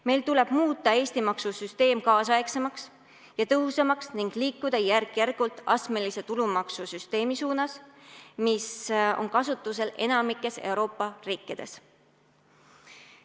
Meil tuleb muuta Eesti maksusüsteem nüüdisaegsemaks ja tõhusamaks ning liikuda järk-järgult astmelise tulumaksusüsteemi suunas, mis on kasutusel enamikus Euroopa riikides.